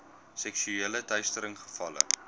seksuele teistering gevalle